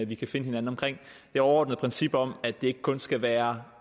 vi kan finde hinanden om det overordnede princip om at det ikke kun skal være